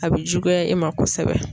A bɛ juguya e ma kosɛbɛ.